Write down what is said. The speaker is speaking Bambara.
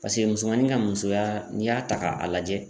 Paseke musomanin ka musoya n'i y'a ta k'a lajɛ.